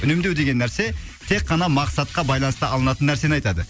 үнемдеу деген нәрсе тек қана мақсатқа байланысты алынатын нәрсені айтады